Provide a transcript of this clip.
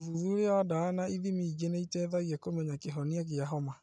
ũthuthuria wa ndawa na ithimi ingĩ nĩũteithagia kũmenya kĩhonia gĩa homa